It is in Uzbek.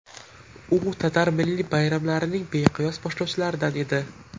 U tatar milliy bayramlarining beqiyos boshlovchilaridan edi.